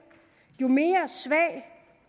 jo mere svag